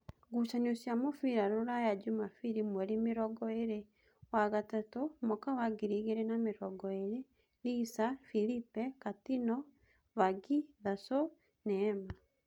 ngucanio cia mũbira Ruraya Jumabiri mweri mĩrongoĩrĩ na igĩrĩ wa gatatu mwaka wa ngiri igĩrĩ na mĩrongoĩrĩ: Lisa, Filipe, Katino, Vagi, Thaco, Neema.